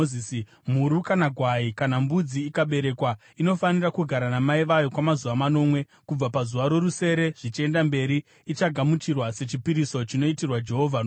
“Mhuru, kana gwai, kana mbudzi ikaberekwa, inofanira kugara namai vayo kwamazuva manomwe. Kubva pazuva rorusere zvichienda mberi, ichagamuchirwa sechipiriso chinoitirwa Jehovha nomoto.